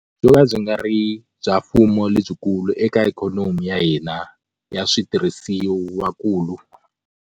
Byo ka byi nga ri bya mfumo lebyikulu eka ikhonomi ya hina ya switi rhisiwakulu.